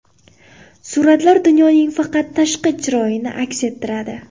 Suratlar dunyoning faqat tashqi chiroyini aks ettiradi.